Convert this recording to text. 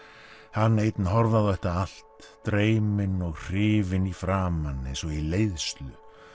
hann einn horfði á þetta allt dreyminn og hrifinn í framan eins og í leiðslu